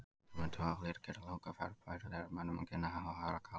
Þetta mundi vafalítið gera langa ferð bærilegri mönnum en kynni að hafa aðra galla.